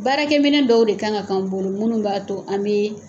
Baarakɛminɛn dɔw de k'an ka kɛ an bolo minnu b'a to an bi